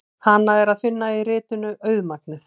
Hana er að finna í ritinu Auðmagnið.